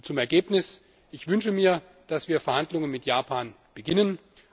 Zum Ergebnis Ich wünsche mir, dass wir Verhandlungen mit Japan beginnen.